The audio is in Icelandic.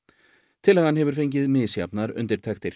tillagan hefur fengið misjafnar undirtektir